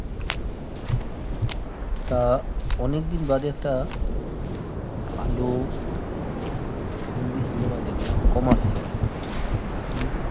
আহ অনেকদিন বাদে একটা ভাল হিন্দি cinema দেখলাম commercial actually